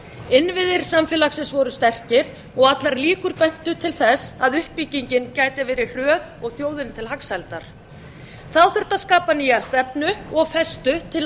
innviðir samfélagsins voru sterkir og allar líkur bentu til þess að uppbyggingin gæti verið hröð og þjóðinni til hagsældar þá þurfti að skapa nýja stefnu og festu til